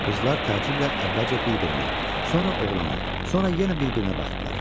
Qızlar təəccüblə əvvəlcə bir-birinə, sonra oğlana, sonra yenə bir-birinə baxdılar.